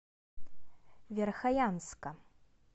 верхоянска